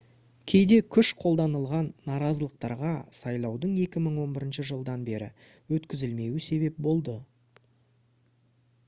кейде күш қолданылған наразылықтарға сайлаудың 2011 жылдан бері өткізілмеуі себеп болды